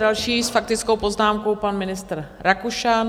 Další s faktickou poznámkou, pan ministr Rakušan.